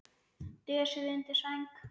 Dösuð undir sæng.